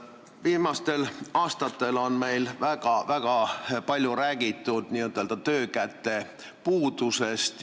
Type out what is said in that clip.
Viimastel aastatel on meil väga palju räägitud n-ö töökäte puudusest.